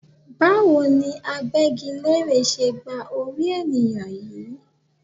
Báwo ni agbẹ́gilére ṣe gba orí ènìyàn yìí?